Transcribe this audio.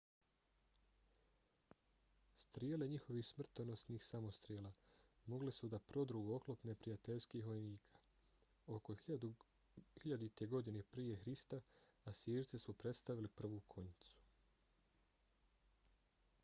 strijele njihovih smrtonosnih samostrela mogle su da prodru u oklop neprijateljskih vojnika. oko 1000. godine prije hrista asirci su predstavili prvu konjicu